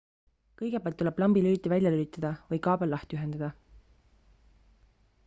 kõigepealt tuleb lambi lüliti välja lülitada või kaabel lahti ühendada